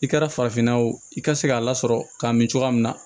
I kɛra farafinna ye o i ka se k'a lasɔrɔ ka min cogoya min na